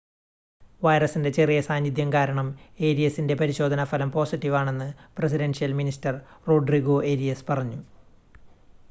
വൈറസിൻ്റെ ചെറിയ സാന്നിദ്ധ്യം കാരണം ഏരിയസിൻ്റെ പരിശോധന ഫലം പോസിറ്റീവ് ആണെന്ന് പ്രസിഡൻഷ്യൽ മിനിസ്റ്റർ റോഡ്രിഗോ ഏരിയസ് പറഞ്ഞു